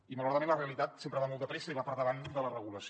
i malauradament la realitat sempre va molt de pressa i va per davant de la regulació